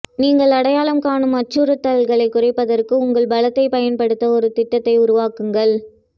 நீங்கள் அடையாளம் காணும் அச்சுறுத்தல்களைக் குறைப்பதற்கு உங்கள் பலத்தை பயன்படுத்த ஒரு திட்டத்தை உருவாக்குங்கள்